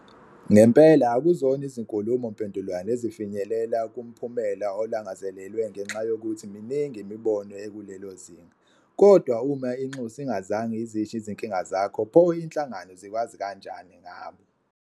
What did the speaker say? Ngempela, akuzona zonke izinkulumo mpendulwano ezifinyelela kumphumela olangazelelwe ngenxa yokuthi miningi imibono ekulelo zinga, kodwa uma inxusa INGAZANGE IZISHO IZINKINGA ZAKHO pho inhlangano zikwazi kanjani ngabo?